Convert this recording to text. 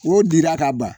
O dira ka ban